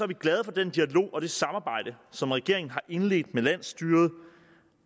vi glade for den dialog og det samarbejde som regeringen har indledt med landsstyret